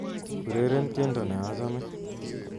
Ureren tiendo nachame